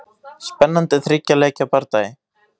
Spennandi þriggja leikja bardagi.